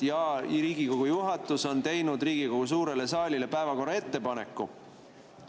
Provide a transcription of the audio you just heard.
Jaa, Riigikogu juhatus on teinud Riigikogu suurele saalile päevakorra kohta ettepaneku.